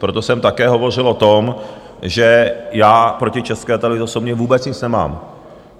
Proto jsem také hovořil o tom, že já proti České televizi osobně vůbec nic nemám.